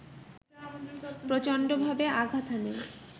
প্রচণ্ডভাবে আঘাত হানে